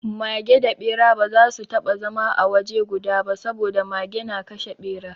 Mage da Ɓera ba za su taɓa zama a waje guda ba saboda Mage na kashe Ɓera.